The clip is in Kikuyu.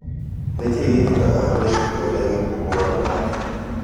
Nĩkĩĩ gĩkĩkaga harĩ ĩtũa rĩa gĩkũo mugarũ nake